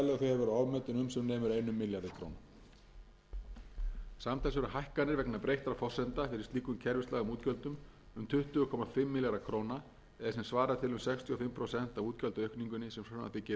einum milljarði króna samtals eru hækkanir vegna breyttra forsendna fyrir slíkum kerfislægum útgjöldum um tuttugu komma fimm milljarða króna eða sem svarar til um sextíu